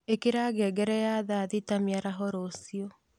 īkira ngengere ya thaa thita mīaraho rūcio